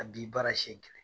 A di baara siyɛn kelen.